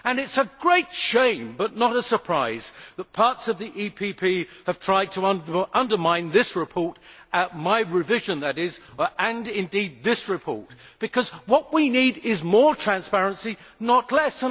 It is a great shame, but not a surprise, that parts of the EPP have tried to undermine this report my revision, that is, and indeed the whole report because what we need is more transparency, not less.